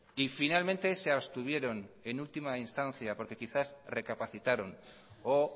y finalmente se abstuvieron en última instancia porque quizá recapacitaron o